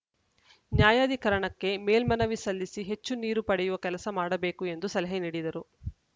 ನ್ಯಾಯಾಧಿಕರಣಕ್ಕೆ ಮೇಲ್ಮನವಿ ಸಲ್ಲಿಸಿ ಹೆಚ್ಚು ನೀರು ಪಡೆಯುವ ಕೆಲಸ ಮಾಡಬೇಕು ಎಂದು ಸಲಹೆ ನೀಡಿದರು